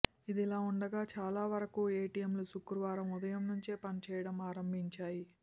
ఇదిలా ఉండగా చాలా వరకు ఎటిఎంలు శుక్రవారం ఉదయం నుంచే పనిచేయడం ఆరంభించాయి